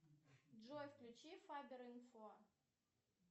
джой включи фабер инфо